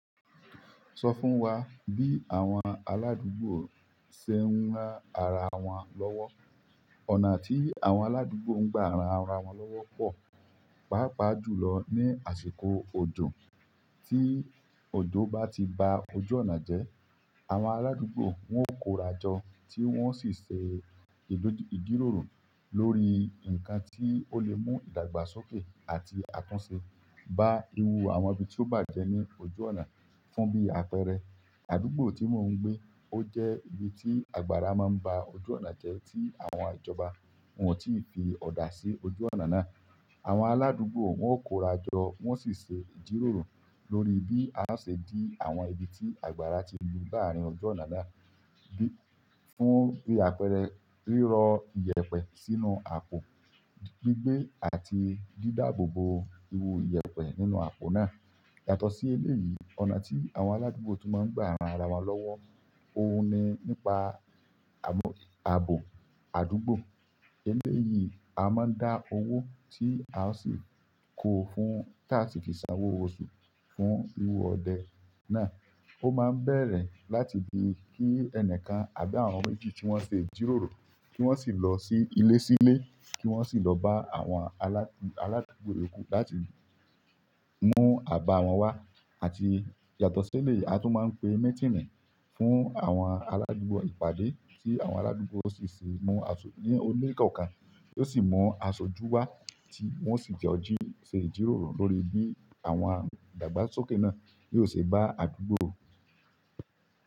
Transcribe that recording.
Sọ fún wa bí àwọn aládùúgbò ṣe ń rán ara wọn lọ́wọ́. Ọ̀nà tí àwọn aládùúgbò ń gba ran ara wọn lọ́wọ́ pọ̀, pàápàá jùlọ ní àsìkò ọdún tí òjò bá ti ba ojú ọ̀nà jẹ́. Àwọn aládùúgbò wọn yóò kórajọ tí wọ́n sì ṣe ìjíróro lórí nǹkan tí ó lè mú ìdàgbàsókè àti àtúnṣe bá irú àwọn ibi tí ó bàjẹ́ ní ojú ọ̀nà fún bí àpẹẹrẹ, àdúgbò tí mò ń gbé ó jẹ́ ibi tí àgbára máa ń ba ojú ọ̀nà jẹ́ tí àwọn ìjọba wọn ò tí ì fi ọ̀dà sí ojú ọ̀nà náà. Àwọn aládùúgbò wọn yóò kórajọ wọ́n sì ṣe ìjiróro lórí bí a ṣe dí àwọn ibi tí àgbára ti lu láarin ojú ọ̀nà náà bí, fún bí àpẹẹrẹ rírọ̀ iyẹ̀pẹ̀ sínú àpò, gbígbé àti dídáàbò bo iru iyẹ̀pẹ̀ nínú àpò náà. Yàtọ̀ sí eléyìí, ọ̀nà tí àwọn aládùúgbò tún máa ń gba ara wọn lọ́wọ́, òun ni nípa ààbò àdúgbò. Eléyìí a máa dá owó tí a sì kó fún táa ti fi sanwó oṣù fún ihò ọdẹ náà. Ó máa bẹ̀rẹ̀ láti di kí ẹnìkan àbí àwọn méjì tí wọ́n ṣe ìjíróro kí wọ́n sì lọ sí ilé sílè kí wọ́n sì lọ bá àwọn aládùúgbò yoku láti mú àbà wọn wá àti yàtọ̀ sí eléyìí a tún máa ń pe mitìnì fún àwọn aládùúgbò ìpàdé tí àwọn aládùúgbò ó sì ṣe mú aṣọ ní ilé kọ̀ọ̀kan, ó sì mú aṣojú wá tí wọ́n sì jọ jí ṣe ìjíroro lórí bí àwọn ìdàgbàsókè náà yóò ṣe bá àdúgbò.